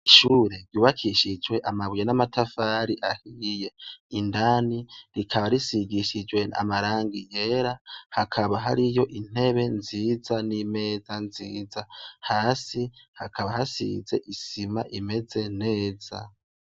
Ishure ryubakishije amabuye n'amatafari ahiye, indani rikaba risigishijwe amarangi yera hakaba hariyo intebe nziza ,n'imeza nziza. Hasi hakaba hasize isima imeze neza.